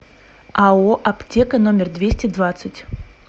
ао аптека номер двести двадцать